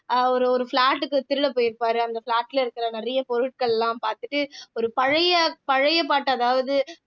அவரு ஒரு flat க்கு திருட போயிருப்பாரு அந்த flat ல இருக்கிற நிறைய பொருட்கள்லாம் பாத்துட்டு ஒரு பழ பழைய பழைய பாட்டு அதாவது